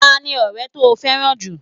Ta ni ọrẹ to fẹ́ràn jù?